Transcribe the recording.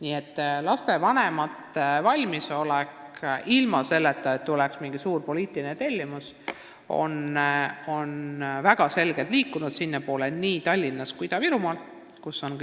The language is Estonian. Nii et lapsevanemate valmisolek on ilma mingi suure poliitilise tellimuseta väga selgelt liikunud sellises suunas nii Tallinnas kui Ida-Virumaal, kus on neid